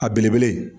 A belebele